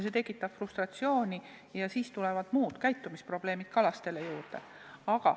See tekitab frustratsiooni ja siis lisanduvad ka käitumisprobleemid.